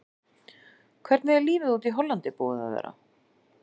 Hvernig er lífið úti í Hollandi búið að vera?